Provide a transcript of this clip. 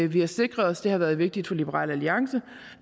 vi har sikret os det har været vigtigt for liberal alliance